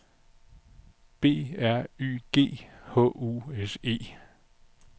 B R Y G H U S E